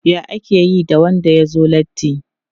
Ya ake yi da wanda ya zo latti?